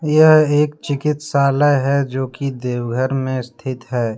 यह एक चिकित्सालय हैजो कि देव घर में स्थित है।